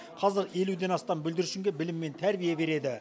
қазір елуден астам бүлдіршінге білім мен тәрбие береді